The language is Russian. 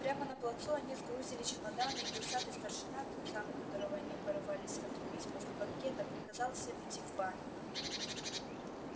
прямо на плацу они сгрузили чемоданы и усатый старшина тот самый которого они порывались отлупить после банкета приказал всем идти в баню